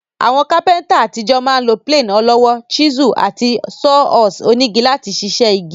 Àwon carpenter ní àtijọ́ ma n lo plane ọlọ́wọ́, chisel, àti saw horse onígi láti sisẹ́ igi